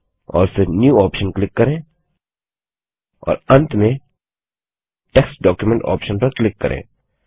और फिर new option click करें और अंत में टेक्स्ट documentऑप्शन पर क्लिक करें